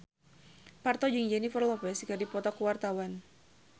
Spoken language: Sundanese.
Parto jeung Jennifer Lopez keur dipoto ku wartawan